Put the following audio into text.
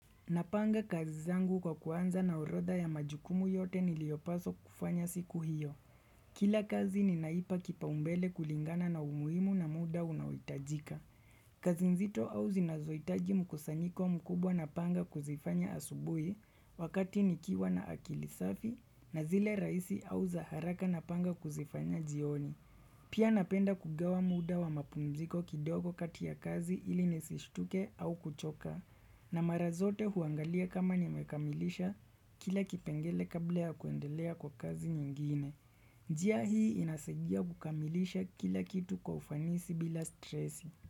Napanga kazi zangu kwa kuanza na orodha ya majukumu yote niliopaswa kufanya siku hiyo. Kila kazi ninaipa kipao mbele kulingana na umuhimu na muda unaohitajika kazi nzito au zinazohitaji mkusanyiko mkubwa napanga kuzifanya asubuhi wakati nikiwa na akili safi na zile rahisi au za haraka napanga kuzifanya jioni. Pia napenda kugawa muda wa mapumziko kidogo kati ya kazi ili nisistuke au kuchoka. Na mara zote huangalia kama nimekamilisha kila kipengele kabla ya kuendelea kwa kazi nyingine. Njia hii inasaidia kukamilisha kila kitu kwa ufanisi bila stresi.